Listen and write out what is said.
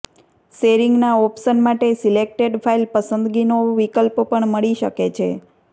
શેરિંગના option માટે selected file પસંદગીનો વિકલ્પ પણ મળી શકે છે